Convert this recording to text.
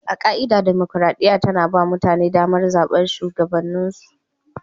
A ka'ida, dimokuradiyya tana ba mutane damar zabar shugabanninsu.